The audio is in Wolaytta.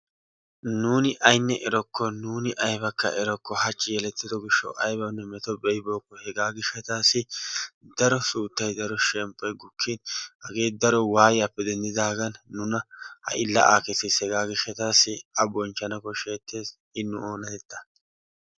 Nuuni aynne erokko nuuni aybanne erokko hachchi yelettido gishshawu aybanne meto be'ibookko hegaa gishshataassi daro shemppoy daro suuttay gukkin hagee daro waayiyaappe dendidaagaan ha'i la'aa kessiis hegaa gishshataassi a bonchchana koshshettees i nu oonatettaa.